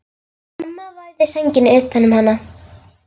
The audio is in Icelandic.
Amma vafði sænginni utan um hana.